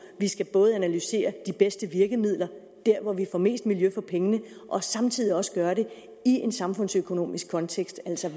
vi skal analysere de bedste virkemidler der hvor vi får mest miljø for pengene og samtidig også gøre det i en samfundsøkonomisk kontekst altså